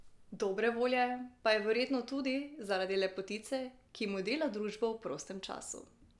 Dobre volje pa je verjetno tudi zaradi lepotice, ki mu dela družbo v prostem času.